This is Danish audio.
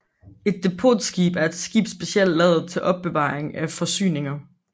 Et depotskib er et skib specielt lavet til opbevaring af forsyninger